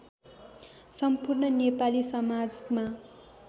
सम्पूर्ण नेपाली समाजमा